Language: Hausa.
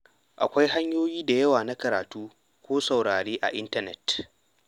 Akwai hanyoyi da yawa na karatu ko saurare a intanet.